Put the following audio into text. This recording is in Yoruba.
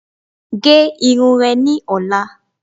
Gé irun re ni ọ̀la